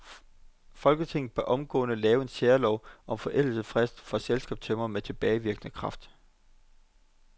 Folketinget bør omgående lave en særlov om forældelsesfrist for selskabstømmerne med tilbagevirkende kraft.